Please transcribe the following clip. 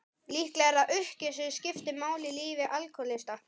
Líklega er það uppgjöf sem skiptir máli í lífi alkohólista.